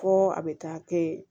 Ko a bɛ taa kɛ